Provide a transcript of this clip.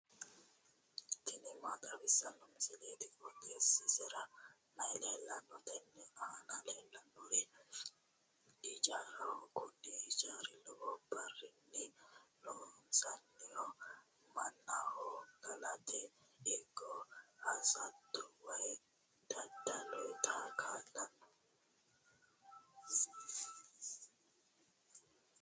tini maa xawissanno misileeti? qooxeessisera may leellanno? tenne aana leellannori ijaaraho kuni ijaari lowo birrinni loonsoonniho mannaho galate ikko hosate woy dadda'late kaa'lanno.